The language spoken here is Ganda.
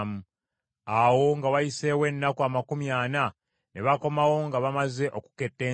Awo nga wayiseewo ennaku amakumi ana ne bakomawo nga bamaze okuketta ensi.